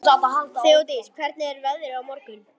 Þeódís, hvernig er veðrið á morgun?